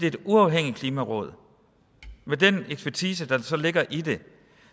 et uafhængigt klimaråd med den ekspertise der så ligger i det